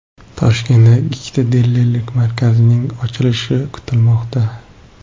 Toshkentda ikkita dilerlik markazining ochilishi kutilmoqda.